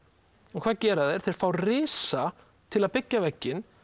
og hvað gera þeir þeir fá risa til að byggja vegginn